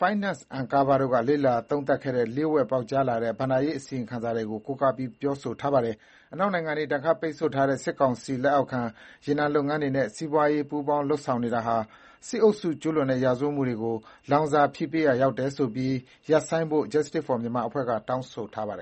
Finance Uncovered တို့က လေ့လာသုံးသပ်ခဲ့တဲ့ လျှို့ဝှက် ပေါက်ကြားလာတဲ့ ဘဏ္ဍာရေးအစီရင်ခံစာတွေကို ကိုးကားပြီး ပြောဆိုထားပါတယ်။ အနောက်နိုင်ငံတွေ ဒဏ်ခတ်ပိတ်ဆို့ထားတဲ့ စစ်ကောင်စီလက်အောက်ခံ ရေနံလုပ်ငန်းတွေနဲ့ စီးပွားရေး ပူးပေါင်း လုပ်ဆောင်နေတာဟာ စစ်အုပ်စုကျူးလွန်တဲ့ရာဇဝတ်မှုတွေကို လောင်စာဖြည့်ပေးရာရောက်တယ်ဆိုပြီး ရပ်ဆိုင်းဖို့ Justice for Myanmar အဖွဲ့က တောင်းဆိုထားပါတယ်